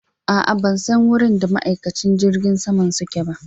A'a ban san wurin da ma'aikacin jirgin saman suke ba